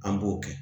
An b'o kɛ